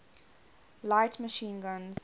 light machine guns